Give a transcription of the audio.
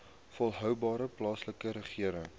volhoubare plaaslike regering